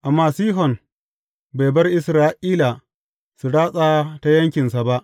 Amma Sihon bai bar Isra’ila su ratsa ta yankinsa ba.